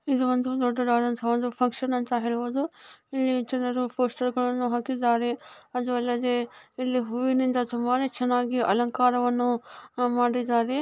ಇದೋ ಒಂದು ದೊಡ್ಡ ದಾದಾ ಫನ್ಕ್ಷನ್ ಅಂತ ನೇ ಹೇಳಬಹುದು ಇಲ್ಲಿ ಜನರು ಪೋಸ್ಟರ್ಗಳನ್ನು ಹಾಕಿದರೆ ಅದ್ ಇಲದೆ ಹೂವಿ ನಿಂದ ತುಂಬಾ ಚನ್ನಾಗಿ ಅಲಂಕಾರ ಮಾಡಿದ್ದಾರೆ.